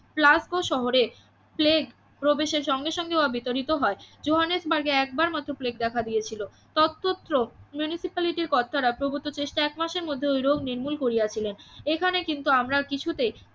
প্লাস্কো শহরে প্লেগ প্রবেশের সঙ্গে সঙ্গে ও বিতাড়িত হয় জোহানসবার্গে একবার মাত্র প্লেগ দেখা দিয়েছিল ততত্র মিউনিসিপ্যালিটির কর্তারা প্রভুত চেষ্টায় একমাসের মধ্যে ওই রোগ নির্মূল করিয়াছিলেন এখানে কিন্তু আমরা কিছুতেই